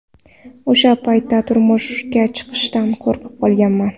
O‘sha paytda turmushga chiqishdan qo‘rqib qolganman.